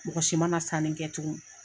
Mɔgɔ si mana na sanni kɛ tugun.